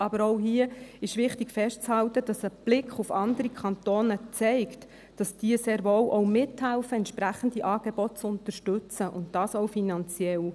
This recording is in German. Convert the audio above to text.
Aber auch hier ist wichtig, festzuhalten, dass ein Blick auf andere Kantone zeigt, dass diese sehr wohl auch mithelfen, entsprechende Angebote zu unterstützen, und das auch finanziell.